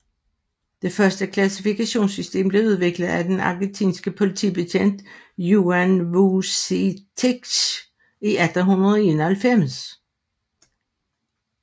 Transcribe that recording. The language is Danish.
Det første klassifikationssystem blev udviklet af den argentinske politibetjent Juan Vucetich i 1891